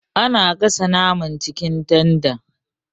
Ana gasa naman acikin tanda.